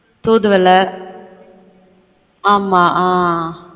தூதுவளை ஆமா ஆன்